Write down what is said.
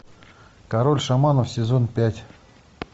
король шаманов сезон пять